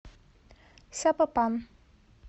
сапопан